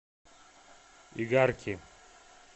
игарки